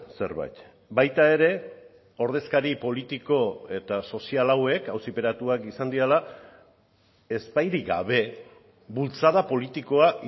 zerbait baita ere ordezkari politiko eta sozial hauek auziperatuak izan direla ezbairik gabe bultzada politikoa